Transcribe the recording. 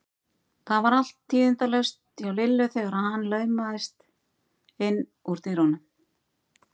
Það var allt tíðindalaust hjá Lillu þegar hann laumaðist inn úr dyrunum.